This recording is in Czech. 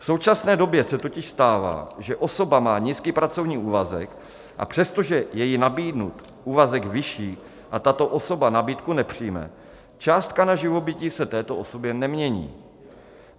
V současné době se totiž stává, že osoba má nízký pracovní úvazek, a přestože je jí nabídnut úvazek vyšší, tato osoba nabídku nepřijme, částka na živobytí se této osobě nemění.